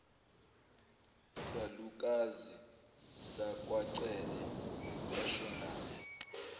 salukazi sakwacele sashonaphi